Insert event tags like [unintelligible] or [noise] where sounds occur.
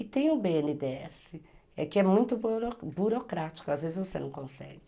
E tem o bê ene dê esse, [unintelligible] que é é muito burocrático, às vezes você não consegue.